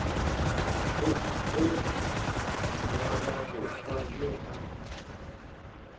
gob ge moababohwa yo a